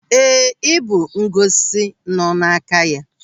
Éè, ibu ngosi nọ n'aka ya.